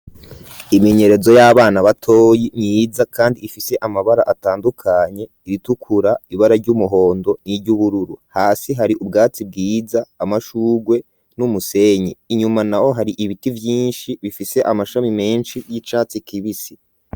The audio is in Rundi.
Iminyerezo, y'abana batoyi, myiza, kandi ifise amabara, atandukanye; iritukura, ibara ry'umuhondo, n'iry'ubururu; hasi hari ubwatsi bwiza, amashurwe, n'umusenyi; inyuma naho, hari ibiti vyinshi, bifise amashami menshi, y'icatsi kibisi.